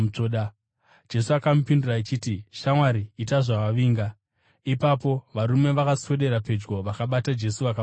Jesu akamupindura achiti, “Shamwari, ita zvawavinga.” Ipapo varume vakaswedera pedyo vakabata Jesu, vakamusunga.